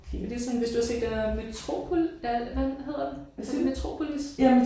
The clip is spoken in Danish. Men det sådan hvis du har set den der hvad hedder den er det Metropolis?